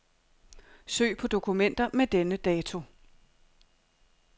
Søg på dokumenter med denne dato.